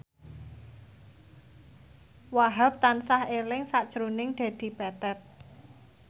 Wahhab tansah eling sakjroning Dedi Petet